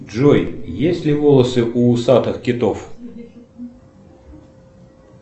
джой есть ли волосы у усатых китов